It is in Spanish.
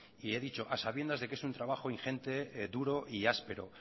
y he dicho a sabiendas de que es un trabajo ingente duro y áspero